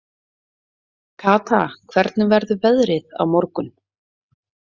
Kata, hvernig verður veðrið á morgun?